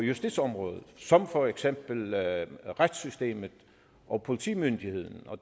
justitsområdet som for eksempel retssystemet og politimyndigheden og